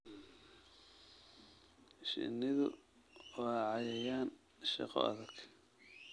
Shinnidu waa cayayaan shaqo adag.